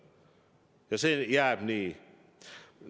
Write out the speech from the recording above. Ja see jääb nii.